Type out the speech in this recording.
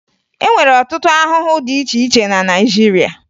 E nwere ọtụtụ ahụhụ dị na Naịjirịa